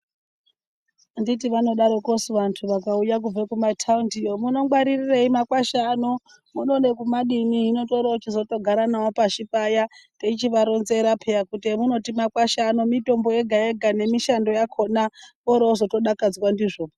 Anditi vanodarokosu vanthu vakauya kubva kumathaindiyo munongwaririrei makwasha ano munoda kumadini hino torooti tinotogara nawo pashi paya teichivaronzera kuti emunoti makwasha ano mitombo yega yega nemishando yakhona voroozoto dakadzwa ndizvo.